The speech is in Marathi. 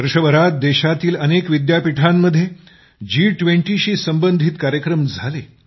वर्षभरात देशातील अनेक विद्यापीठांमध्ये जी20शी संबंधित कार्यक्रम झाले